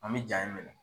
An bɛ ja in minɛ